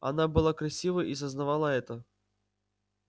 она была красива и сознавала это